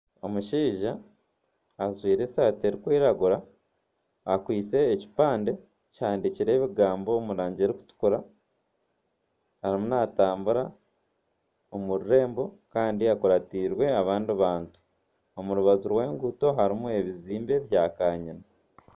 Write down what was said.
Omushaija ajwaire esaati erikwiragura akwaitse ekipande kihandikireho ebigambo omurangi erikutukura ariyo natambura omu rurembo kandi akuratiirwe abandi bantu omu rubaju rw'enguuto harimu ebizimbe bya kanyina.